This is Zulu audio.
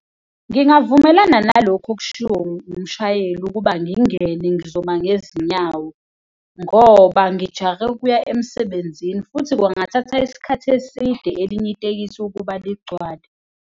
Ngingavumelana nalokhu okushiwo umshayeli ukuba ngingene, ngizoma ngezinyawo ngoba ngijahe ukuya emsebenzini futhi kungathatha isikhathi eside elinye itekisi ukuba ligcwale.